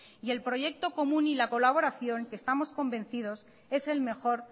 y el proyecto común y la colaboración que estamos convencidos es el mejor